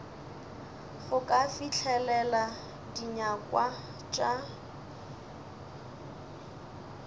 go ka fihlelela dinyakwa tša